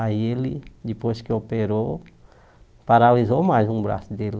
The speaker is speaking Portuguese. Aí ele, depois que operou, paralisou mais um braço dele.